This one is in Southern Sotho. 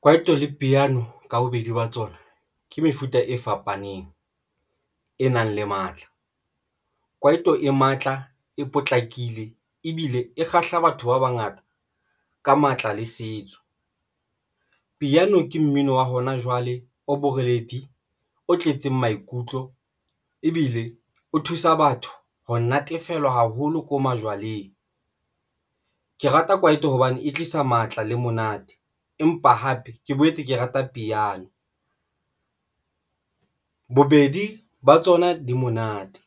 Kwaito le piano ka bobedi ba tsona ke mefuta e fapaneng e nang le matla. Kwaito e matla, e potlakile ebile e kgahla batho ba bangata ka matla le setso. Piano ke mmino wa hona jwale o boreledi, o tletseng maikutlo ebile o thusa batho. Ho natefelwa haholo ko majwaleng. Ke rata kwaito hobane e tlisa matla le monate, empa hape ke boetse ke rata piano bobedi ba tsona di monate,